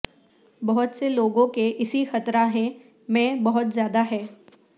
بہت سے لوگوں کے اسی خطرہ ہیں میں بہت زیادہ ہے